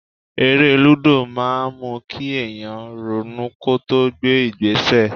Eré lúdò máa ń mú kí èèyàn ronú kó tó gbé ìgbésẹ̀